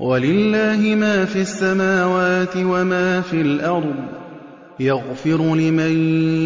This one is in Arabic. وَلِلَّهِ مَا فِي السَّمَاوَاتِ وَمَا فِي الْأَرْضِ ۚ يَغْفِرُ لِمَن